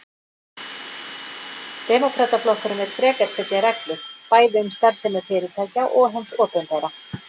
Demókrataflokkurinn vill frekar setja reglur, bæði um starfsemi fyrirtækja og hins opinbera.